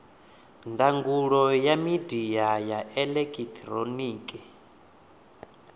ndangulo ya midia ya elekihironiki